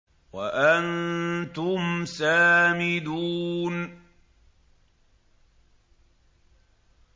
وَأَنتُمْ سَامِدُونَ